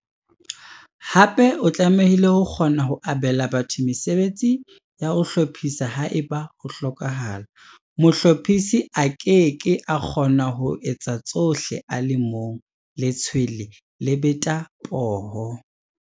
Hape o tlamehile ho kgona ho abela batho mesebetsi ya ho hlophisa haeba ho hlokahala, mohlophisi a ke ke a kgona ho etsa tsohle a le mong, letshwele le beta poho.